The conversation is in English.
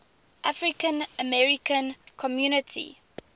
african american community